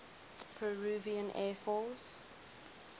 peruvian air force